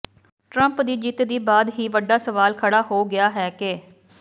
Trump ਦੀ ਜਿੱਤ ਦੀ ਬਾਅਦ ਹੀ ਵੱਡਾ ਸਵਾਲ ਖੜਾ ਹੋ ਗਿਆ ਹੈ ਕੇ